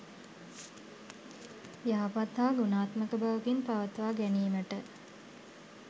යහපත් හා ගුණාත්මක බවකින් පවත්වා ගැනීමට